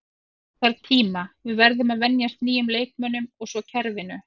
Það þarf tíma, við verðum að venjast nýjum leikmönnum og svo kerfinu.